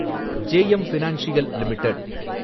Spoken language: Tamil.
JM financial limited